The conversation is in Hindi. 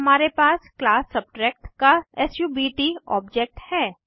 फिर हमारे पास क्लास सबट्रैक्ट का सब्ट ऑब्जेक्ट है